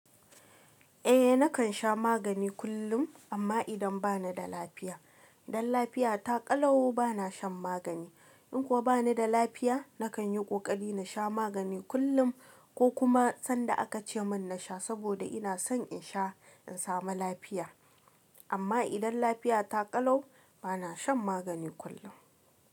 Eh nakan sha magani kullum amma idan bana da lafiya. Dan lafiya ta ƙalau bana shan magani. In kuwa bana da lafiya nakan yi ƙoƙari na sha magani kullum ko kuma sanda aka ce min na sha saboda ina son in sha in samu lafiya. Amma idan lafiya ta ƙalau bana shan magani kullum.